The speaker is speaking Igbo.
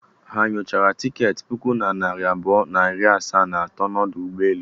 Ha o nyochara tiketi puku na narị abụọ na iri asaa na asatọ n'ọdụ ụgbọelu?